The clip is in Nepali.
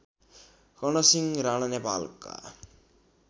कर्णसिंह राणा नेपालका